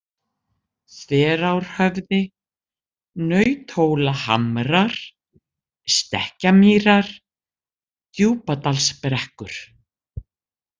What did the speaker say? Þverárhöfði, Nauthólahamrar, Stekkjarmýrar, Djúpadalsbrekkur